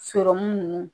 nunnu